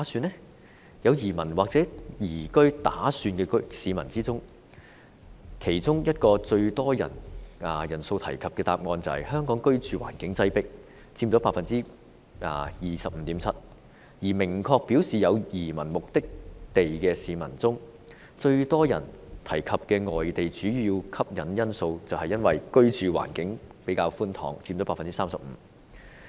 在有移民或移居打算的市民中，其中一個最多人提及的答案是香港居住環境擠迫，佔 25.7%， 而明確表示有移民目的地的市民中，最多人提及的外地主要吸引因素是居住環境較為寬敞，佔 35%。